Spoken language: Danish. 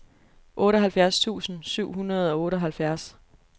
otteoghalvfjerds tusind syv hundrede og otteoghalvfjerds